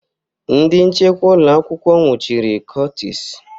Ndị nchekwa ụlọ akwụkwọ nwụchiri Curtis